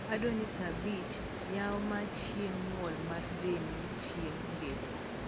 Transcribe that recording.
adwaro ni saa abich yaw mar chieng nyuol mar jenn chieng ngesoni